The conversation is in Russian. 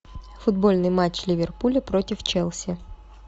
футбольный матч ливерпуля против челси